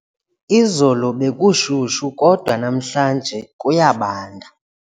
Izolo bekushushu kodwa namhlanje kuyabanda.